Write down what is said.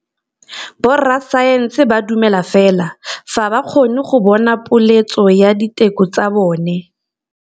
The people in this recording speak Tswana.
Borra saense ba dumela fela fa ba kgonne go bona poeletsô ya diteko tsa bone.